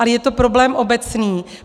Ale je to problém obecný.